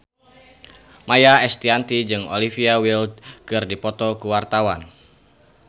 Maia Estianty jeung Olivia Wilde keur dipoto ku wartawan